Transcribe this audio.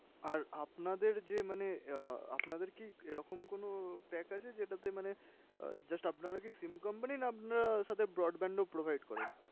আর আপনাদের যে মানে আহ আপনাদের কি এরকম কোনো pack আছে যেটাতে মানে আহ just আপনারা কি SIM company না আপনারা সাথে broadband ও provide করেন?